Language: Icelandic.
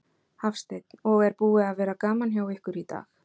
Hafsteinn: Og er búið að vera gaman hjá ykkur í dag?